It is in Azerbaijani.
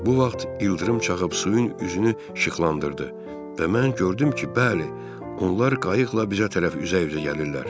Bu vaxt ildırım çaxıb suyun üzünü işıqlandırdı və mən gördüm ki, bəli, onlar qayıqla bizə tərəf üzə-üzə gəlirlər.